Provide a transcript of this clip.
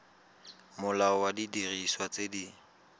molao wa didiriswa tse di